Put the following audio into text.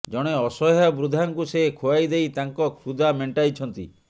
ଜଣେ ଅସହାୟ ବୃଦ୍ଧାକୁ ସେ ଖୁଆଇଦେଇ ତାଙ୍କ କ୍ଷୁଧା ମେଣ୍ଟାଇଛନ୍ତି